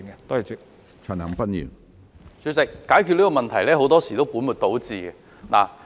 主席，政府在解決這個問題時，很多時也會本末倒置。